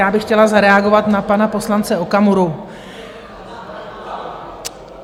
Já bych chtěla zareagovat na pana poslance Okamuru.